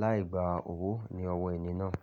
láì gba owó ní ọwọ́ ènì náà.